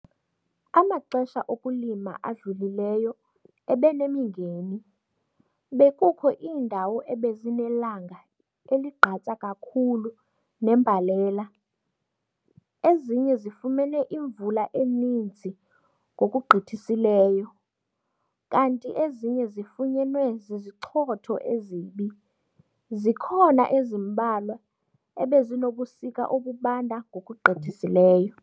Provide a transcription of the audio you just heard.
Amaxesha okulima adlulileyo ebenemingeni - bekukho iindawo ebezinelanga eligqatsa kakhulu nembalela, ezinye zifumene imvula eninzi ngokugqithisileyo, kanti ezinye zifunyenwe zizichotho ezibi, zikhona ezimbalwa ebezinobusika obubanda ngokugqithisileyo.